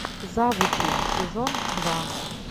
завучи сезон два